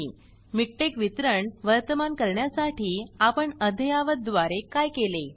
MikTeXमिकटेक वितरण वर्तमान करण्यासाठी आपण अद्ययावत द्वारे काय केले